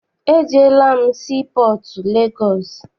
Ejeela m sii pọọtụ Legọọsị.